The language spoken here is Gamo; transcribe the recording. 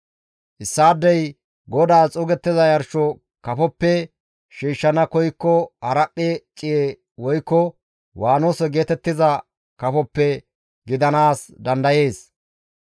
«Issaadey GODAAS xuugettiza yarsho kafoppe shiishshana koykko haraphphe ciye woykko waanose geetettiza kafoppe gidanaas dandayees.